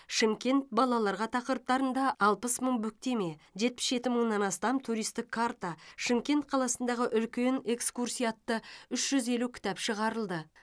шымкент балаларға тақырыптарында алпыс мың бүктеме жетпіс жеті мыңнан астам туристік карта шымкент қаласындағы үлкен экскурсия атты үш жүз елу кітап шығарылды